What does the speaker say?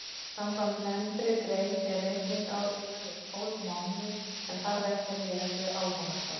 Samkvæmt nefndri grein er reikningsár yfirleitt tólf mánuðir en þarf ekki að miðast við almanaksár.